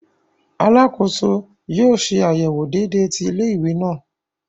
Alàkóso yóò ṣe àyẹwò déédé ti ilé-ìwé náà